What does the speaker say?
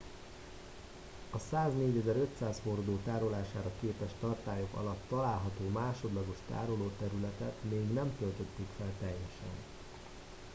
a 104 500 hordó tárolására képes tartályok alatt található másodlagos tárolóterületet még nem töltötték fel teljesen